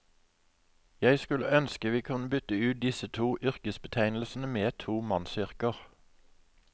Jeg skulle ønske vi kunne bytte ut disse to yrkesbetegnelsene med to mannsyrker.